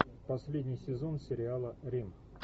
последний сезон сериала рим